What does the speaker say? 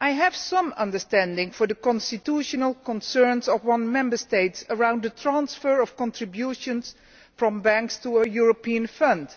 I have some understanding for the constitutional concerns of one Member State concerning the transfer of contributions from banks to a European fund,